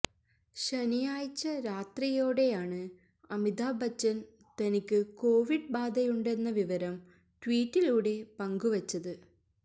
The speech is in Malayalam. ശനിയാഴ്ച രാത്രിയോടെയാണ് അമിതാഭ് ബച്ചൻ തനിക്ക് കൊവിഡ് ബാധയുണ്ടെന്ന വിവരം ട്വീറ്റിലൂടെ പങ്കുവച്ചത്